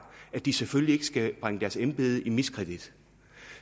at de selvfølgelig ikke skal bringe deres embede i miskredit